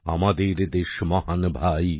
আমাদের দেশ মহান ভাই